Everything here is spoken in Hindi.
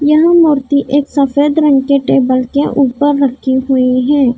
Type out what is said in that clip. यह मूर्ति एक सफेद रंग के टेबल के ऊपर रखी हुई है।